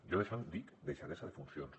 jo d’això en dic deixadesa de funcions